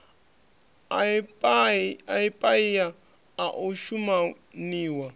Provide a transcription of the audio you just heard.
a paia a o shumaniwa